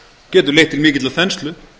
getur leitt til mikillar þenslu